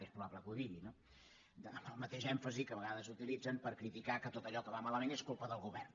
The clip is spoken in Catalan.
és probable que ho digui no amb el mateix èmfasi que a vegades utilitzen per criticar que tot allò que va malament és culpa del govern